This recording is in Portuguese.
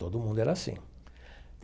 Todo mundo era assim.